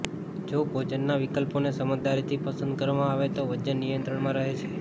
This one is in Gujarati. જોભોજનના વિકલ્પોને સમજદારીથી પસંદ કરવામાં આવે તો વજન નિયંત્રણમાં રહે છે